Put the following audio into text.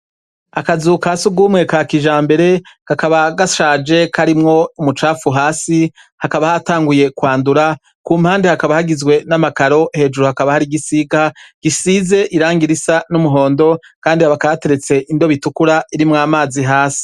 Akazuka si ugumwe ka kija mbere kakaba gashaje koarimwo umucapfu hasi hakaba hatanguye kwandura ku mpande hakaba hagizwe n'amakaro hejuru hakaba hari igisiga gisize iranga irisa n'umuhondo, kandi abakateretse indobitukura irimwo amazi hasi.